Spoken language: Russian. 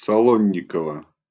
солонникова